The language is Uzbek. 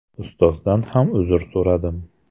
Ustozdan ham uzr so‘radim.